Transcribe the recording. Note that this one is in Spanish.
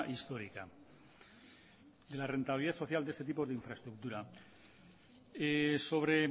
histórica de la rentabilidad social de ese tipo de infraestructura sobre